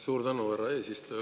Suur tänu, härra eesistuja!